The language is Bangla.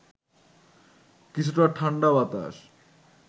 কিছুটা ঠাণ্ডা বাতাস